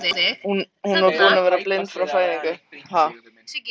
Hún sem var búin að vera blind frá fæðingu.